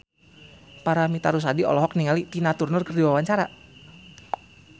Paramitha Rusady olohok ningali Tina Turner keur diwawancara